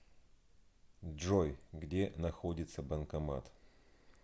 джой где находится банкомат